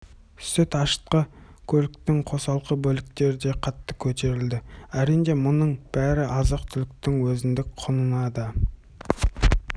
сүт ашытқы көліктің қосалқы бөлшектері де қатты көтерілді әрине мұның бәрі азық-түліктің өзіндік құнына да